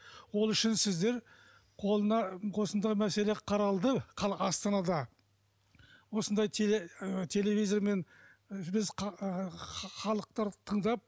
ол үшін сіздер қолына осындай мәселе қаралды астанада осындай ы телевизормен біз халықтарды тыңдап